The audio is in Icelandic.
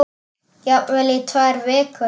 Jafnvel í tvær vikur.